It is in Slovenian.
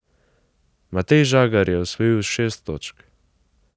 Matej Žagar je osvojil šest točk.